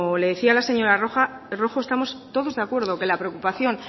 le decía a la señora rojo estamos todos de acuerdo que la preocupación